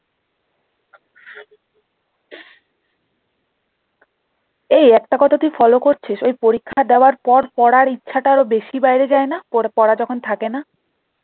এই একটা কথা তুই follow করছিস ওই পরীক্ষা দেবার পর পড়ার ইচ্ছাটা আরও বেশি বেড়ে যায় না পড়া যখন থাকেনা